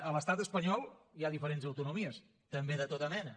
a l’estat espanyol hi ha diferents autonomies també de tota mena